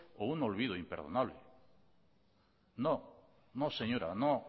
o un olvido imperdonable no no señora no